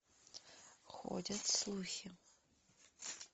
ходят слухи